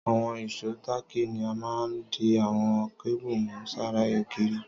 Àwon ìsó tààkì ni a ma n di àwon cable mú sára ògiri